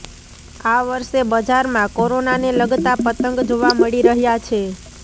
આ વર્ષે બજારમાં કોરોનાને લગતા પતંગ જોવા મળી રહ્યાં છે